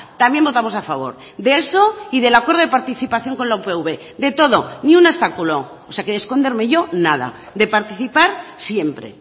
también votamos a favor de eso y del acuerdo de participación con la upv de todo ni un obstáculo o sea que de esconderme yo nada de participar siempre